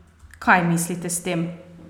Kaj mislite s tem?